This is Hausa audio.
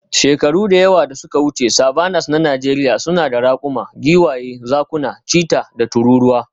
Shekaru da yawa da suka wuce, savannas na Najeriya suna da raƙuma, giwaye, zakuna, cheetah, da tururuwa.